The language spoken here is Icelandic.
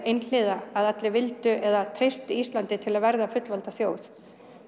einhliða að allir vildu eða treystu Íslandi til að verða fullvalda þjóð